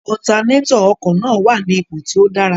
Otanétọ̀ ọkọ̀ náà wà ní ipò tí ó dára.